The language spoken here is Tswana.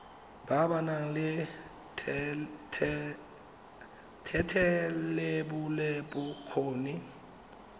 ba ba nang le thetelelobokgoni